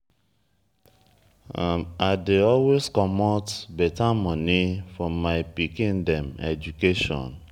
i dey always comot beta moni for my pikin dem education.